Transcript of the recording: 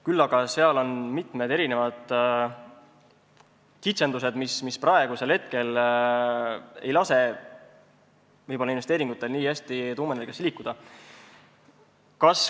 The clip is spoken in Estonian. Küll aga on seal mitmed kitsendused, mis praegu ei lase võib-olla investeeringutel nii hästi tuumaenergiasse liikuda.